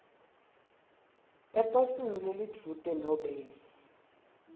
eposini lelidvute nobe